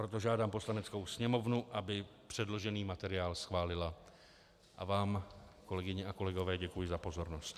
Proto žádám Poslaneckou sněmovnu, aby předložený materiál schválila, a vám, kolegyně a kolegové, děkuji za pozornost.